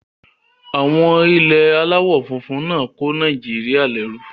Àwọn ilẹ̀ aláwọ̀ funfun náà kó Nàìjíríyà lẹ́rú